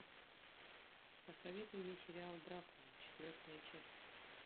посоветуй мне сериал дракула четвертая часть